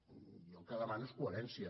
jo el que demano és coherència